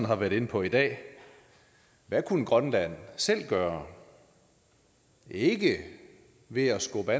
har været inde på i dag hvad kunne grønland selv gøre ikke ved at skubbe